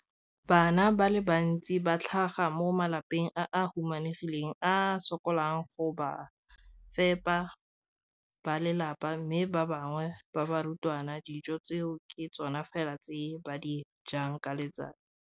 Bana ba le bantsi ba tlhaga mo malapeng a a humanegileng a a sokolang go ka fepa ba lelapa mme ba bangwe ba barutwana, dijo tseo ke tsona fela tse ba di jang ka letsatsi.